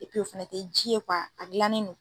o fana te ji ye a dilannen don.